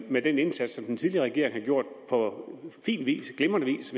med den indsats som den tidligere regering har gjort på fin vis glimrende vis